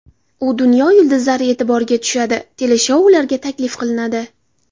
U dunyo yulduzlari e’tiboriga tushadi, teleshoularga taklif qilinadi.